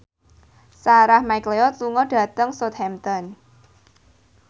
Sarah McLeod lunga dhateng Southampton